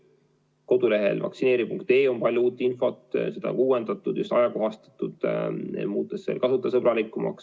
Kodulehel vaktsineeri.ee on palju uut infot, seda on uuendatud, ajakohastatud, muutes lehte kasutajasõbralikumaks.